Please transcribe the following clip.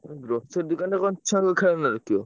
ଉଁ grocery ଦୋକାନରେ କଣ ଛୁଆଙ୍କ ଖେଳନା ରଖିବ।